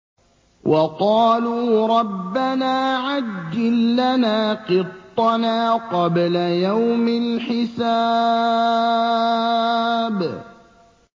وَقَالُوا رَبَّنَا عَجِّل لَّنَا قِطَّنَا قَبْلَ يَوْمِ الْحِسَابِ